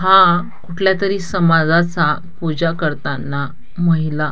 हा कुठल्या तरी समाजाचा पूजा करताना महिला--